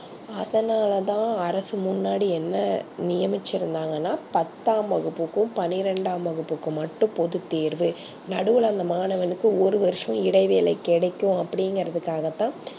அதுனாலதா அரசு முன்னாடி என்ன நியமிச்சி இருந்தாங்கனா பத்தாம் வகுப்புக்கும் பன்னிரெண்டாம் வகுப்புக்கும் மட்டும் போது தேர்வு நடுவுல அந்த மாணவனுக்கு ஒரு வர்சம் இடைவேளை கிடைக்கும் அப்டிங்கர்துகாகதா